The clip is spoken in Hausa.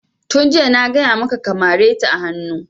Tun jiya na gaya maka ka mare ta a hanu!